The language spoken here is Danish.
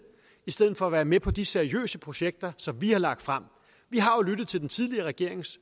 i stedet for at være med på de seriøse projekter som vi har lagt frem vi har lyttet til den tidligere regerings